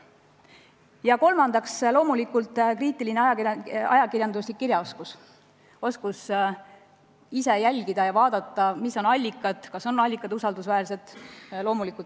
Ja kolmandaks, loomulikult ajakirjanduslik kriitiline kirjaoskus: oskus jälgida ja kindlaks teha, mis on allikad, kas allikad on usaldusväärsed.